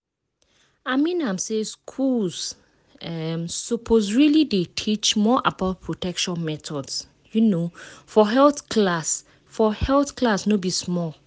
i mean am say schools um suppose really dey teach more about protection methods um for health class for health class no be small